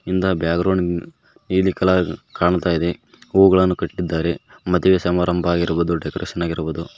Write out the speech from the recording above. Background ನೀಲಿ colour ಕಾಣ್ತಾ ಇದೆ ಹೂಗಳನ್ನು ಕಟ್ಟಿದ್ದಾರೆ ಮದುವೆ ಸಮಾರಂಭವಾಗಿರುವುದು ಡೆಕೋರೇಷನ್ ಆಗಿರುವುದು.